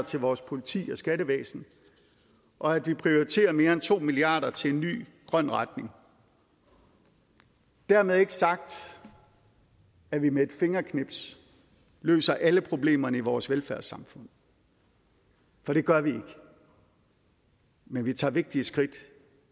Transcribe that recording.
til vores politi og skattevæsen og at vi prioriterer mere end to milliard kroner til en ny grøn retning dermed ikke sagt at vi med et fingerknips løser alle problemerne i vores velfærdssamfund for det gør vi ikke men vi tager vigtige skridt